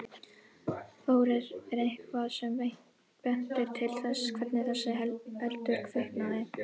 Þórir: Er eitthvað sem bendir til þess hvernig þessi eldur kviknaði?